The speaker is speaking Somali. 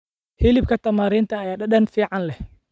Hilibka Tamarind ayaa dhadhan fiican leh.